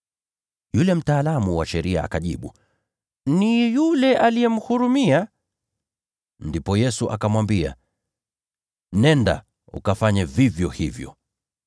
Yule mtaalamu wa sheria akajibu, “Ni yule aliyemhurumia.” Ndipo Yesu akamwambia, “Nenda, ukafanye vivyo hivyo.”